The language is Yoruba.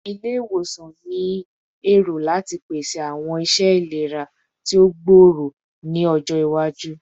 Ile-iwosan ni ero lati pese awọn iṣẹ ilera ti o gbooro ni ọjọ iwaju